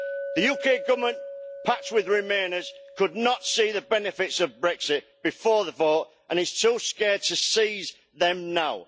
The UK Government, packed with remainers, could not see the benefits of Brexit before the vote and is too scared to seize them now.